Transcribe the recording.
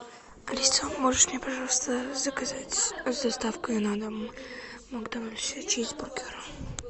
алиса можешь мне пожалуйста заказать с доставкой на дом в макдональдсе чизбургер